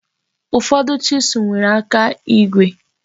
Ụfọdụ chisụl nwere aka igwe.